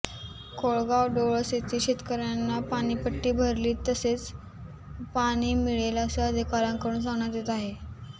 कोळगाव डोळस येथील शेतकऱ्यांना पाणीपट्टी भरली तरच पाणी मिळेल असे अधिकाऱ्यांकडून सांगण्यात येत आहे